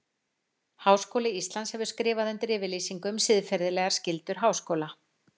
Háskóli Íslands hefur skrifað undir yfirlýsingu um siðferðilegar skyldur háskóla.